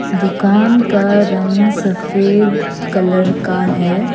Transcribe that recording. दुकान का रंग सफेद कलर का है।